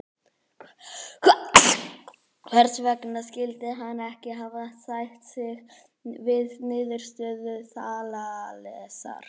Hvers vegna skyldi hann ekki hafa sætt sig við niðurstöðu Þalesar?